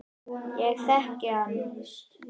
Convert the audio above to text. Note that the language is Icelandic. Ég þekkti hana.